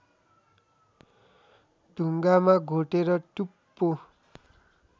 ढुङ्गामा घोटेर टुप्पो